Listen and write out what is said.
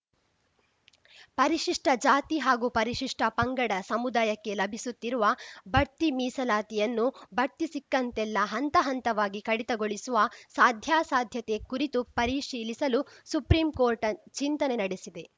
ಪರಿಶಿಷ್ಟಜಾತಿ ಹಾಗೂ ಪರಿಶಿಷ್ಟಪಂಗಡ ಸಮುದಾಯಕ್ಕೆ ಲಭಿಸುತ್ತಿರುವ ಬಡ್ತಿ ಮೀಸಲಾತಿಯನ್ನು ಬಡ್ತಿ ಸಿಕ್ಕಂತೆಲ್ಲಾ ಹಂತಹಂತವಾಗಿ ಕಡಿತಗೊಳಿಸುವ ಸಾಧ್ಯಾಸಾಧ್ಯತೆ ಕುರಿತು ಪರಿಶೀಲಿಸಲು ಸುಪ್ರೀಂಕೋರ್ಟ್‌ ಚಿಂತನೆ ನಡೆಸಿದೆ